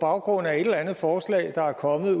baggrund af et eller andet forslag der er kommet